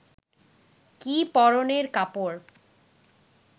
কি পরনের কাপড়